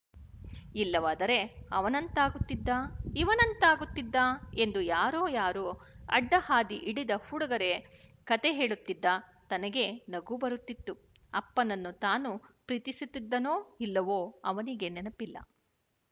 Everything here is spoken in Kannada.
ಇಲ್ಲವಾದರೆ ಅವನಂತಾಗುತ್ತಿದ್ದ ಇವನಂತಾಗುತ್ತಿದ್ದ ಎಂದು ಯಾರೋ ಯಾರೋ ಅಡ್ಡ ಹಾದಿ ಹಿಡಿದ ಹುಡುಗರೆ ಕತೆ ಹೇಳುತ್ತಿದ್ದ ತನಗೆ ನಗು ಬರುತ್ತಿತ್ತು ಅಪ್ಪನನ್ನು ತಾನು ಪ್ರೀತಿಸುತ್ತಿದ್ದನೋ ಇಲ್ಲವೋ ಅವನಿಗೆ ನೆನಪಿಲ್ಲ